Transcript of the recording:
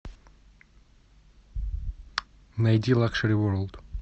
найди лакшери ворлд